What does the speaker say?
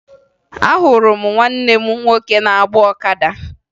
Ahụrụ m nwanne m nwoke na-agba ọkada